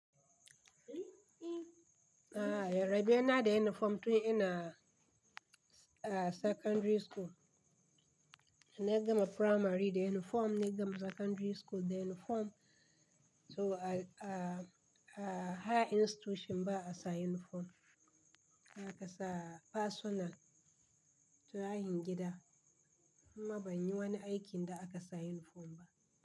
A'a, rabe yana da uniform tun ina a secondary school. Da na gama primary, da uniform, na gama secondary school, da uniform. To a, a, a, higher institution ba a sa uniform. Na kasa personal, tuhahin gida. Amma ban yi wani aikin da aka sa uniform ba.